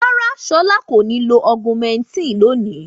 Rárá, Ṣọlá kò ní lo Augumentin lónìí.